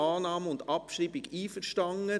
mit Annahme und Abschreibung einverstanden.